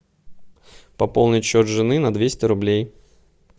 пополнить счет жены на двести рублей